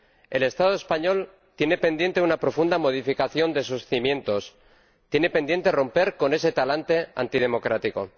El Estado español tiene pendiente una profunda modificación de sus cimientos, tiene pendiente romper con ese talante antidemocrático.